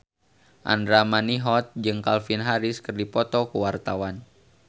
Andra Manihot jeung Calvin Harris keur dipoto ku wartawan